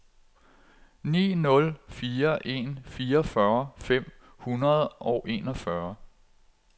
ni nul fire en fireogfyrre fem hundrede og enogfyrre